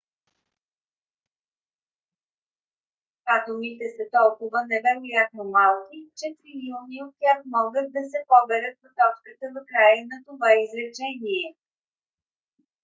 атомите са толкова невероятно малки че трилиони от тях могат да се поберат в точката в края на това изречение